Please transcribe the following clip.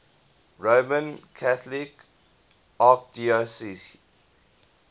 roman catholic archdiocese